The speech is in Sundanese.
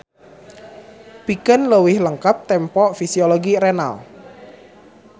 Pikeun leuwih lengkep tempo fisiologi renal.